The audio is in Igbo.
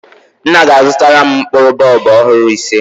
Nna ga-azụtara m mkpụrụ bọlbụ ọhụrụ ise